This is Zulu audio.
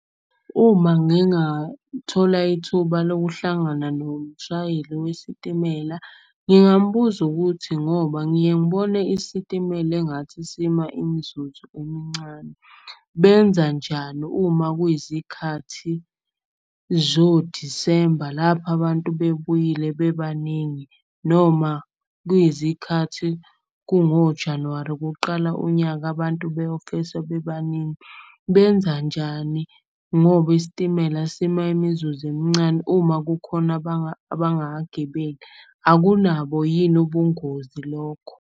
Uma ngingathola ithuba lokuhlangana nomshayeli wesitimela, ngingambuza ukuthi. Ngoba ngiye ngibone isitimela engathi isima imzuzu emncane, benzanjani uma kuyizikhathi zoDisemba. Lapho abantu bebuyile bebaningi noma kuyizikhathi kungoJanuwari kuqala unyaka. Abantu beyofesa bebaningi, benzanjani ngoba isitimela sima imizuzu emncane. Uma kukhona abangakagibeli, akunabo yini ubungozi lokho?